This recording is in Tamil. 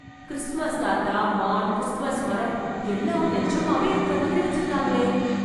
கிறிஸ்மஸ் தாத்தா, மான், கிறிஸ்மஸ் மரம் எல்லாம் நெஜமாவே இருக்கற மாதிரி வெச்சுருக்காங்களே...